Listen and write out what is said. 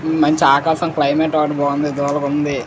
మంచి ఆకాశం క్లైమేటు ఓటి బాగుంది దులాగుంది --